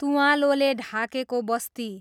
तुवाँलोले ढाकेको बस्ती